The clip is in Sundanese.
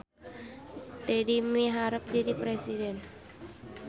Dedi miharep jadi presiden